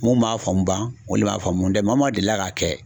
Mun man faamu ban olu le man faamu n dɛ maa maa deli la ka kɛ